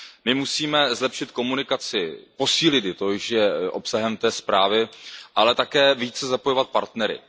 My musíme zlepšit komunikaci, posílit ji, to již je obsahem té zprávy, ale také více zapojovat partnery.